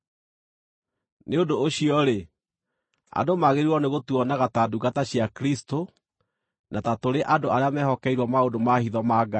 Nĩ ũndũ ũcio-rĩ, andũ magĩrĩirwo nĩgũtuonaga ta ndungata cia Kristũ, na ta tũrĩ andũ arĩa mehokeirwo maũndũ ma hitho ma Ngai.